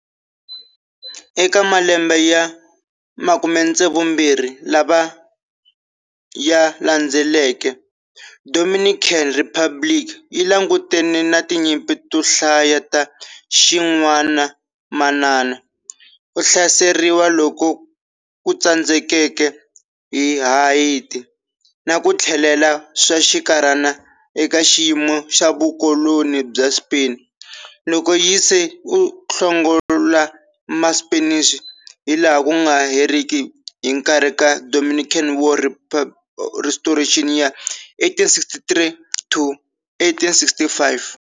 Eka malembe ya 72 lawa ya landzeleke, Dominican Republic yi langutane na tinyimpi to hlaya ta xin'wanamanana, ku hlaseriwa loku tsandzekeke hi Haiti, na ku tlhelela swa swinkarhana eka xiyimo xa vukoloni bya Spain, loko yinga se hlongola ma Spanish hi laha kunga heriki hi nkarhi wa Dominican War of Restoration ya 1863-1865.